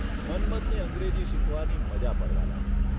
મન્મથને અંગ્રેજી શીખવાની મઝા પડવા લાગી.